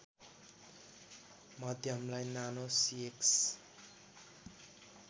मध्यमलाई Nano सिएक्स